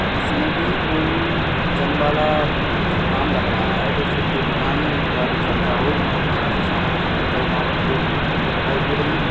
इसमें भी कोई जिमवाला काम लग रहा है। जैसे कोई दुकानदारी करता हो। मा यहा से सामान खरीदता हो। वहा पर दो बोतले भी दिखाई दे रही है।